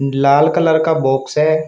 लाल colour का box है।